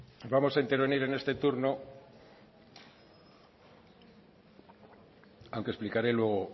bai bale vamos a intervenir en este turno aunque explicaré luego